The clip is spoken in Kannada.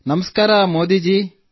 ನಮಸ್ತೆ ಮೋದಿ ಜೀ